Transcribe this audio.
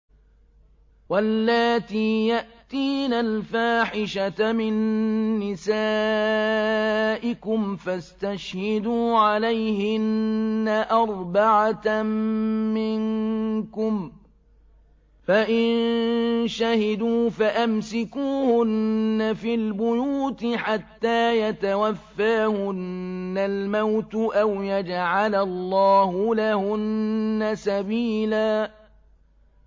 وَاللَّاتِي يَأْتِينَ الْفَاحِشَةَ مِن نِّسَائِكُمْ فَاسْتَشْهِدُوا عَلَيْهِنَّ أَرْبَعَةً مِّنكُمْ ۖ فَإِن شَهِدُوا فَأَمْسِكُوهُنَّ فِي الْبُيُوتِ حَتَّىٰ يَتَوَفَّاهُنَّ الْمَوْتُ أَوْ يَجْعَلَ اللَّهُ لَهُنَّ سَبِيلًا